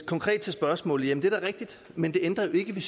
konkrete spørgsmål jamen det er da rigtigt men det ændrer jo ikke ved